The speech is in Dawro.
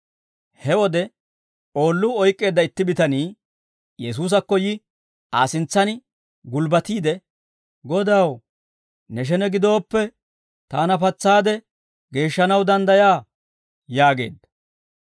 He wode oolluu oyk'k'eedda itti bitanii Yesuusakko yi Aa sintsaan gulbbatiide, «Godaw, ne shene gidooppe, taana patsaade geeshshanaw danddayaa» yaageedda.